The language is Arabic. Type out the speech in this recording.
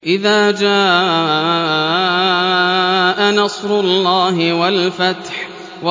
إِذَا جَاءَ نَصْرُ اللَّهِ وَالْفَتْحُ